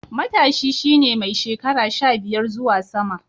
Matashi shi ne mai shekara sha biyar zuwa sama.